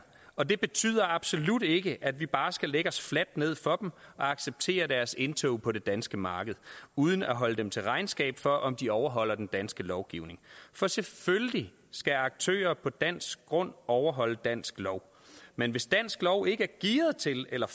og det betyder absolut ikke at vi bare skal lægge os fladt ned for dem og acceptere deres indtog på det danske marked uden at holde dem til regnskab for om de overholder den danske lovgivning for selvfølgelig skal aktører på dansk grund overholde dansk lov men hvis dansk lov ikke er gearet til eller